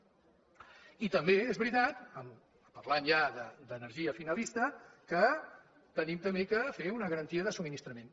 i també és veritat parlant ja d’energia finalista que hem de també fer una garantia de subministrament